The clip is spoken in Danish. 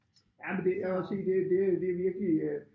Ja men det jeg vil også sige det det det virkelig øh